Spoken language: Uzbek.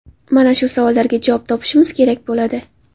Mana shu savollarga javob topishimiz kerak bo‘ladi.